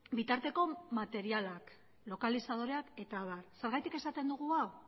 bitarteko materialak lokalizadoreak eta abar zergatik esaten dugu hau